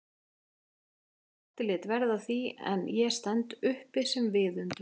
Berti lét verða af því en ég stend uppi sem viðundur?